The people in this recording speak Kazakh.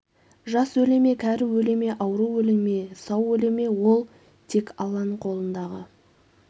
жас өле ме кәрі өле ме ауру өле ме сау өле ме ол тек алланың қолындағы